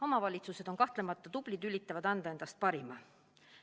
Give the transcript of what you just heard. Omavalitsused on kahtlemata tublid ja üritavad anda endast parima.